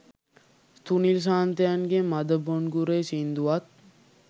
සුනිල් සාන්තයන්ගේ මද බොන්ගුරේ සින්දුවත්